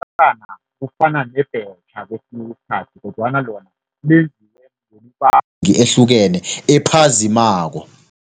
Iyerhana kufana nebhetjha kwesinye isikhathi kodwana lona ehlukene ephazimako.